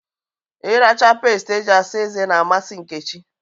Ịracha peest eji-asa ezé n'amasị Nkechi.